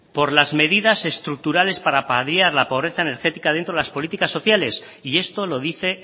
por las medidas estructurales para paliar la pobreza energética dentro de las políticas sociales y esto lo dice